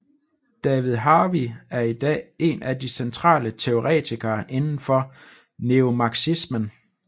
David Harvey er i dag en af de centrale teoretikere inden for neomarxismen